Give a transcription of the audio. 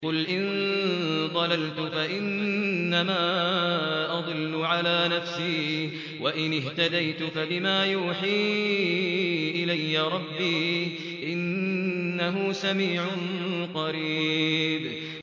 قُلْ إِن ضَلَلْتُ فَإِنَّمَا أَضِلُّ عَلَىٰ نَفْسِي ۖ وَإِنِ اهْتَدَيْتُ فَبِمَا يُوحِي إِلَيَّ رَبِّي ۚ إِنَّهُ سَمِيعٌ قَرِيبٌ